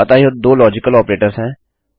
अतः यह दो लाजिकल ऑपरेटर्स हैं